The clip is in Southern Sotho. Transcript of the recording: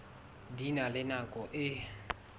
di na le nako e